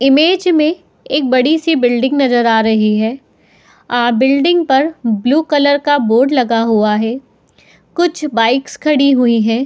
Image में एक बड़ी-सी बिल्डिंग नजर आ रही है। अ बिल्डिंग पर ब्लू कलर का बोर्ड लगा हुआ है। कुछ बाइक्स खड़ी हुई हैं।